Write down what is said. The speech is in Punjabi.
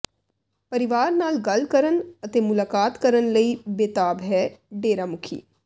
ਪਰਿਵਾਰ ਨਾਲ ਗੱਲ ਕਰਨ ਅਤੇ ਮੁਲਾਕਾਤ ਕਰਨ ਲਈ ਬੇਤਾਬ ਹੈ ਡੇਰਾ ਮੁਖੀ